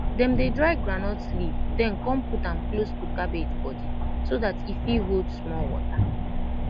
dem dey dry groundnut leave den com put am close to cabbage body so dat e fit hold small water